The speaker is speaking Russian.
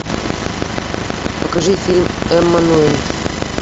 покажи фильм эммануэль